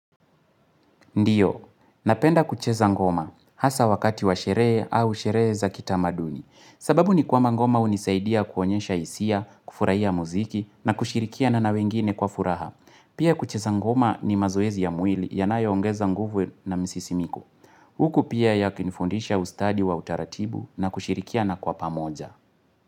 Ndiyo, napenda kucheza ngoma, hasa wakati wa sherehe au sherehe za kitamaduni. Sababu ni kwamba ngoma hunisaidia kuonyesha hisia, kufurahia muziki, na kushirikiana na wengine kwa furaha. Pia kucheza ngoma ni mazoezi ya mwili yanayoongeza nguvu na msisimiko. Huku pia yakinifundisha ustadi wa utaratibu na kushirikiana kwa pamoja.